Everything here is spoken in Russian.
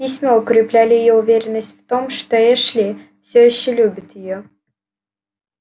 письма укрепляли её уверенность в том что эшли все ещё любит её